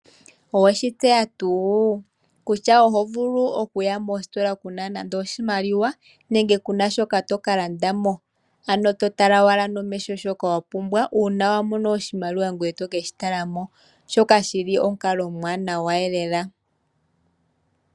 Owetseya tuu kutya ohovulu okuya koostola kuna nando oshimaliwa nenge kunashoka tokalandamo ano totala owala nomeho shoka wapumbwa, uuna wamono oshimaliwa ngoye to keshi talako shoka shili omukalo omuwanawa lela.